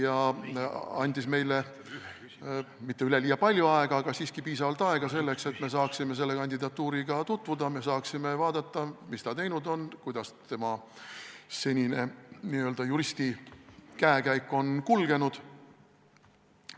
Ta andis meile mitte üleliia palju aega, aga siiski piisavalt aega selleks, et me saaksime selle kandidaadiga tutvuda, et me saaksime vaadata, mis ta teinud on, kuidas tema senine n-ö juristikäekäik on kulgenud.